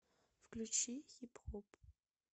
включи хип хоп